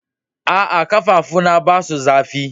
Aa, kafafu na ba su zafi.